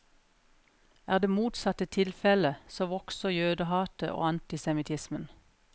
Er det motsatte tilfelle, så vokser jødehatet og antisemittismen.